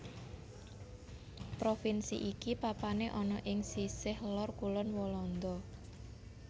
Provinsi iki papané ana ing sisih lor kulon Walanda